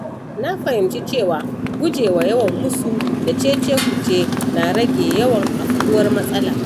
Na fahimci cewa gujewa yawan musu da cecekuce na rage yawan afkuwar matsala.